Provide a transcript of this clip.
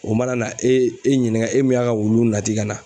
O mana na e e ɲininka e min y'a ka wulu nati ka na.